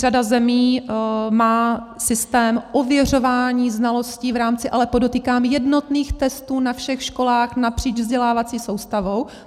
Řada zemí má systém ověřování znalostí v rámci - ale podotýkám jednotných - testů na všech školách napříč vzdělávací soustavou.